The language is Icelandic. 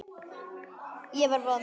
Ég var vond.